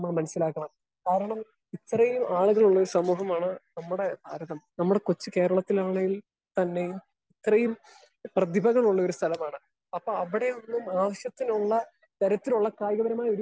Speaker 1 നമ്മൾ മനസ്സിലാക്കണം. കാരണം ഇത്രയും ആളുകളുള്ള ഒരു സമൂഹമാണ് നമ്മുടെ ഭാരതം. നമ്മുടെ കൊച്ചു കേരളത്തിലാണെങ്കിൽ തന്നെ ഇത്രയും പ്രതിഭകളുള്ള ഒരു സ്ഥലമാണ്. അപ്പൊ അവിടെ ഒന്നും ആവശ്യത്തിനുള്ള തരത്തിലുള്ള കായികപരമായ ഒരു